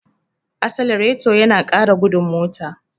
Asalareto yana ƙara gudun mota.